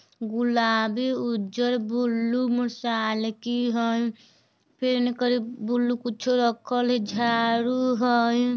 गुलाबी उजर blue motorcycle हइ फिर हनी कोरी ब्लू कुछु रखल हइ झाड़ू हइ।